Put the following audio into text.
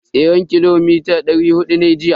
Tseren kilomita dari hudu nayi jiya.